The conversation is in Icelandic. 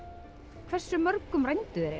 hversu mörgum rændu þeir